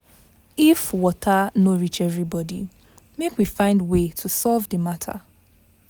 If water no reach everybody, make we find way to solve the matter.